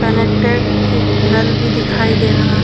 connected एक नल भी दिखाई दे रहा --